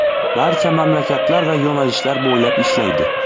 Barcha mamlakatlar va yo‘nalishlar bo‘ylab ishlaydi.